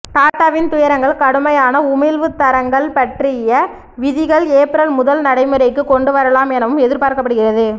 டாடாவின் துயரங்கள் கடுமையான உமிழ்வுத் தரங்கள் பற்றிய விதிகள் ஏப்ரல் முதல் நடைமுறைக்கு கொண்டு வரலாம் எனவும் எதிர்பார்க்கப்படுகிறது